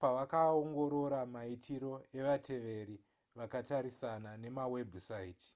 pavakaongorora maitiro evateveri vakatarisana nemawebhusaiti